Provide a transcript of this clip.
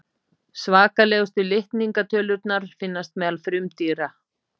svakalegustu litningatölurnar finnast meðal frumdýra